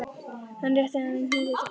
Hann rétti henni hnýtið til baka.